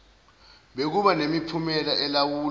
bekuba nemiphumela elawulwa